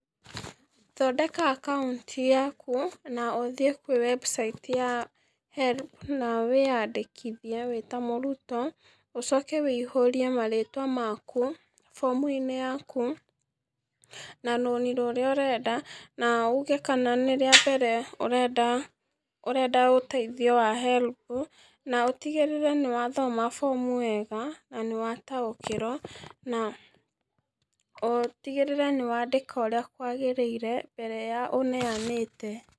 Thondeka akaũnti yaku na ũthie kwĩ website ya HELB na wĩyandĩkithie wĩ ta mũrũtwo ũcoke wĩihũrie marĩtwa makũ form ĩnĩ yakũ na rũnĩ rũrĩa ũrenda na ũge kana nĩ rĩa mbere ũrenda, ũrenda ũteithio wa HELB na ũtigĩrĩre nĩwathoma form wega na nĩwataũkĩrwo na ũtigĩrĩre nĩwandĩka ũrĩa kwagĩrĩirĩ mbere ya ũneanĩte.